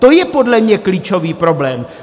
To je podle mě klíčový problém.